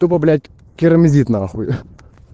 тупо блять керамзит нахуй